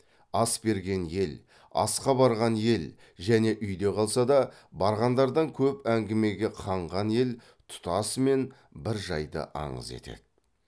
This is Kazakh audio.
ас берген ел асқа барған ел және үйде қалса да барғандардан көп әңгімеге қанған ел тұтасымен бір жайды аңыз етеді